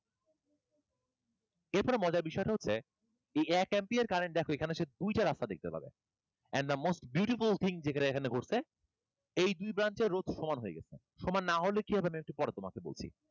এরপরে মজার বিষয়টা হচ্ছে এই এক ampere current দেখো এইখানে এসে দুইটা রাস্তা দেখতে পাবে and the most beautiful thing এখানে যেটা ঘটসে, এই দুই প্রান্তের রোধ সমান হয়ে গেছে। সমান না হলে কি হবে আমি একটু পরে তোমাকে বলছি।